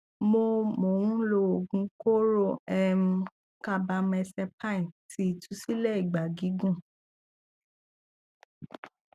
mo mo ń lo oogun kooro um carbamazepine ti itusile ìgbà gígùn